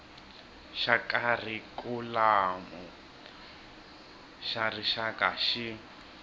xa kharikhulamu xa rixaka xi